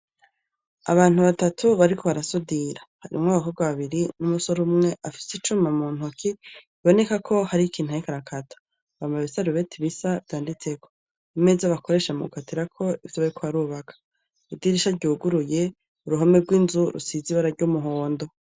Abantu batatu bariko barasudira, harimwo abakobwa babiri n'umusore umwe afise icuma mu ntoki biboneka ko hari ikintu ariko arakata, bambaye ibisarubeti bisa vyanditseko, imeza bakoresha mugukatirako ivyo bariko barubaka ,idirisha ryuguruye, uruhome rw'inzu rusize ibara ry'umuhondo.